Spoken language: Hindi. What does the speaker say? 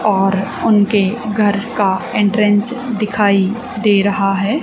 और उनके घर का एंट्रेंस दिखाई दे रहा है।